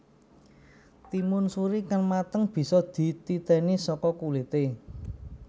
Timun suri kang mateng bisa dititèni saka kulité